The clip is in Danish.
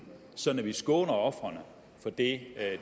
sådan at vi skåner ofrene for det